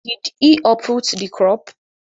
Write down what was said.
Did he uproot the crop?